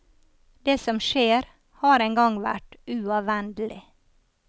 Det som skjer, har en gang vært uavvendelig.